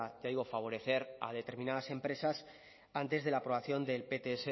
ya digo favorecer a determinadas empresas antes de la aprobación del pts